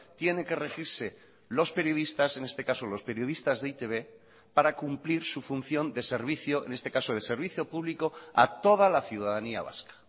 tiene que regirse los periodistas en este caso los periodistas de e i te be para cumplir su función de servicio en este caso de servicio público a toda la ciudadanía vasca